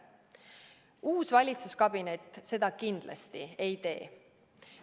Uus valitsuskabinet seda kindlasti ei tee.